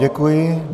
Děkuji.